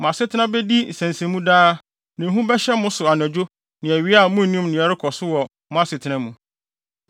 Mo asetena bedi nsensɛnmu daa, na ehu bɛhyɛ mo so anadwo ne awia a munnim nea ɛrekɔ so wɔ mo asetena mu.